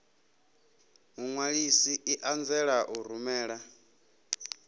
muṅwalisi i anzela u rumela